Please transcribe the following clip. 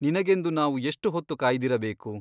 ನಿನಗೆಂದು ನಾವು ಎಷ್ಟು ಹೊತ್ತು ಕಾಯ್ದಿರಬೇಕು ?